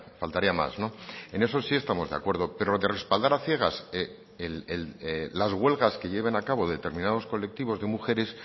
faltaría más en eso sí estamos de acuerdo pero lo de respaldar a ciegas las huelgas que lleven a cabo determinados colectivos de mujeres